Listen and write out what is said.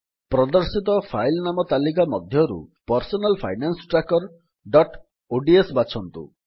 ପ୍ରଦର୍ଶିତ ଫାଇଲ୍ ନାମ ତାଲିକା ମଧ୍ୟରୁ personal finance tracker dot ODS ବାଛନ୍ତୁ